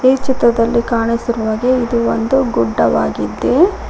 ಈ ಚಿತ್ತದಲ್ಲಿ ಕಾಣಿಸಿರು ಹಾಗೆ ಇದು ಒಂದು ಗುಡ್ಡವಾಗಿದೆ.